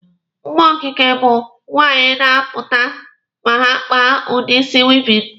Mma okike ụmụ nwaanyị na-apụta ma ha kpaa udi isi wịịvịn.